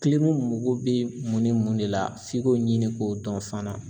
mago bɛ mun ni mun ne la f'i k'o ɲini k'o dɔn fana.